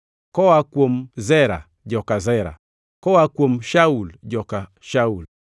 koa kuom Zera, joka Zera; koa kuom Shaul, joka Shaul.